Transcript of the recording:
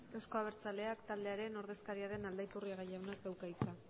euzko abertzaleak taldearen ordezkaria den aldaiturriaga jaunak dauka hitza